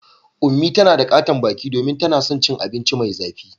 Unmie tana da katon baki domin tana son cin abinci mai zafi.